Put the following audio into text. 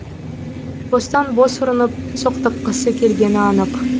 бостан бос ұрынып соқтыққысы келгені анық